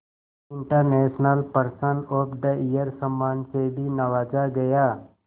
international person of the year सम्मान से भी नवाजा गया